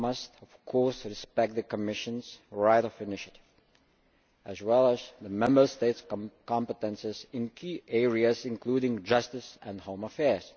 Here, we must of course respect the Commission's right of initiative, as well as the Member States' competences in key areas, including justice and home affairs.